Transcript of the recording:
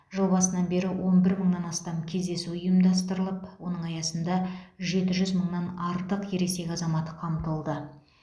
жыл басынан бері он бір мыңнан астам кездесу ұйымдастырылып оның аясында жеті жүз мыңнан артық ересек азамат қамтылды